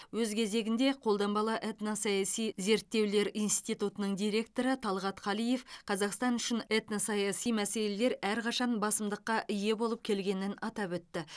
өз кезегінде қолданбалы этносаяси зерттеулер институтының директоры талғат қалиев қазақстан үшін этносаяси мәселелер әрқашан басымдыққа ие болып келгенін атап өтті